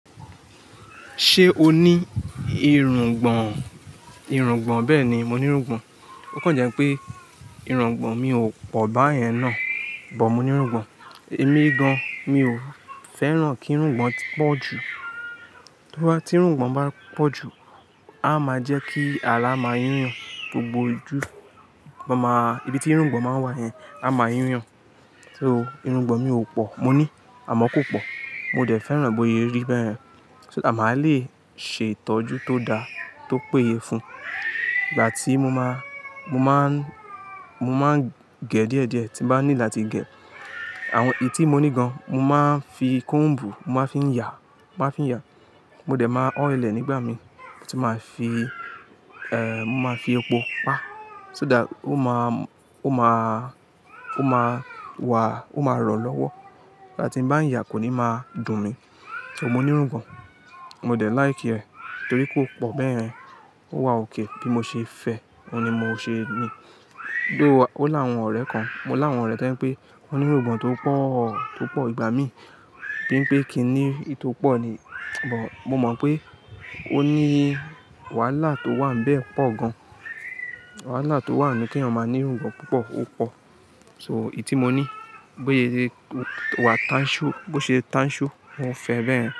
Ṣé o ní irùngbọ̀n? Irùngbọ̀n, bẹ́ẹ̀ni mo ní irùngbọ̀n. Ó kàn jẹ́ pé irùngbọ̀n mi ò pọ̀ bá yẹn náà, bọ̀ mo ní irùngbọ̀n. Èmi gan, mi ò fẹ́ràn kí irùngbọ̀n pọ̀ jù. Tí bá tí irùngbọ̀n bá pọ̀ jù, a máa jẹ́ kí àrà máa yu yan gbogbo ojú, máa ma, ibi tí irùngbọ̀n máa ń wà yẹn, a máa yu yan. So irùngbọ̀n mi ò pọ̀, mo ní, àmọ́ kò pọ̀. Mo dẹ̀ fẹ́ràn bóye rí bẹ́ẹ̀ yẹn, so that máa le ṣe ìtọ́jú tó da, tó péye fún. Ìgbà tí mo máa, mo máa ń, mo máa ń gẹ̀ díẹ̀ díẹ̀ tí bá need láti gẹ̀. Àwọn èyí tí mo ní gan, mo máa ń fi comb, mo máa ń fi yà, mo máa n fi yà. Mo dẹ̀ máa ọ́il ẹ̀ nígbà mi, mo sì máa fi, ẹ, mo máa fi epo pa, so that ó máa, ó máa, ó máa wà, ó máa rọ̀ lọ́wọ́. Ìgbà tí n bá ń yà kò ní máa dùn mi. So mo ní irùngbọ̀n, mo dẹ̀ like rẹ̀ torí kò pọ̀ bẹ́ẹ̀ yẹn. Ó wà okay, bí mo ṣe fẹ́, òun ni mo ṣe ní. Gbé wá, ó lá àwọn ọ̀rẹ́ kan, mo lá àwọn tọ̀ jẹ́ pé wọ́n ní irùngbọ̀n tó pọ̀, tó pọ̀, ìgbà mí. Bí n pé kíni ì tí ó pọ̀ ni, bọ̀ mo mọ̀ pé ó ní wàhálà tó wà níbẹ̀ pọ̀ gan. Wàhálà tó wà nù kí èèyàn máa ní irùngbọ̀n púpọ̀, ó pọ̀. So èyí tí mo ní, bóye rí ó wà tánṣú, bó ṣe tánṣú, mọ́ fẹ́ bẹ́ẹ̀ yẹn.